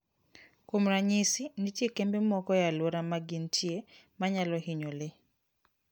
Kuom ranyisi, nitie kembe moko e alwora ma gintie ma nyalo hinyo le.